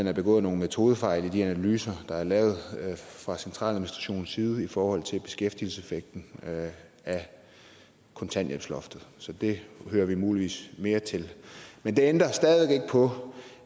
er begået nogle metodefejl i de analyser der er lavet fra centraladministrationens side i forhold til beskæftigelseseffekten af kontanthjælpsloftet så det hører vi muligvis mere til men det ændrer stadig væk ikke på